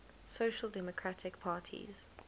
social democratic parties